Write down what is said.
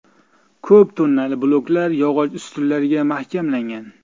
Ko‘p tonnali bloklar yog‘och ustunlarga mahkamlangan.